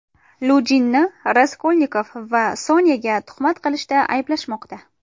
Lujinni Raskolnikov va Sonyaga tuhmat qilishda ayblashmoqda.